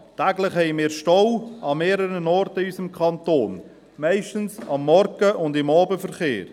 Täglich gibt es an mehreren Orten in unserem Kanton Staus, meistens am Morgen und während des Abendverkehrs.